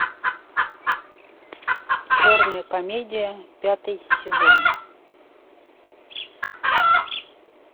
черная комедия пятый сезон